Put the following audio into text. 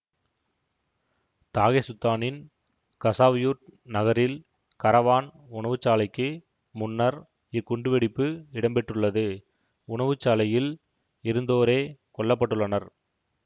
தாகெசுத்தானின் கசாவ்யூர்ட் நகரில் கரவான் உணவுச்சாலைக்கு முன்னர் இக்குண்டுவெடிப்பு இடம்பெற்றுள்ளது உணவுச்சாலையில் இருந்தோரே கொல்ல பட்டுள்ளனர்